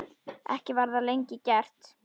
Ekki var það lengi gert.